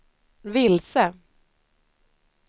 vilse